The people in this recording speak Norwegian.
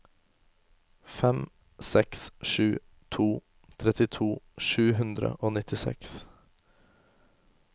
fem seks sju to trettito sju hundre og nittiseks